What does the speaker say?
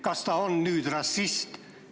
Kas ta on nüüd rassist?